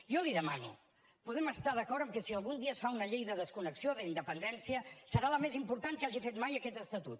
jo li demano podem estar d’acord amb que si algun dia es fa una llei de desconnexió o d’independència serà la més important que hagi fet mai aquest estatut